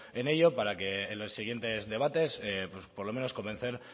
en ello para que en los siguientes debates por lo menos convencer